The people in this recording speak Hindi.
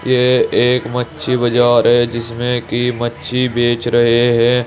ये एक मच्छी बजार है जिसमे की मच्छी बेच रहे हैं।